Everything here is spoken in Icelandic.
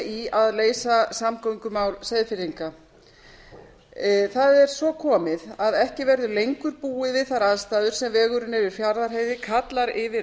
í að leysa samgöngumál seyðfirðinga það er svo komið að ekki verður lengur búið við þær aðstæður sem vegurinn yfir fjarðarheiði kallar yfir